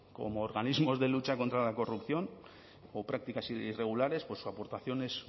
como organismos de lucha contra la corrupción o prácticas irregulares su aportación es